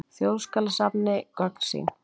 Þjóðskjalasafni gögn sín.